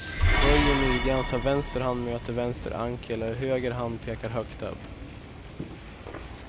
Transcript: Böj i midjan så att vänster hand möter vänster ankel och höger hand pekar högt upp.